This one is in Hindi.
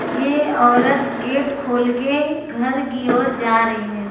यह औरत गेट खोल के घर की ओर जा रहे हैं।